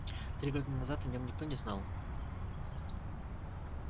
три года назад о нем никто не знал